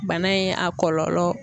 Bana in a kɔlɔlɔ